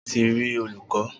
O ni lati ri olukọ